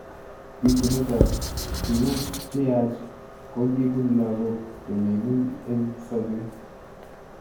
Bitunet ab tuku cheyach kokibun lakok chemi ng'uny eng sabet.